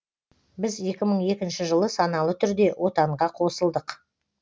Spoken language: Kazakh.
біз екі мың екінші жылы саналы түрде отанға қосылдық